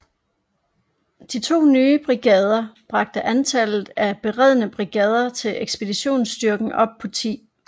De to nye brigader bragte antallet af beredne brigader i ekspeditionsstyrken op på 10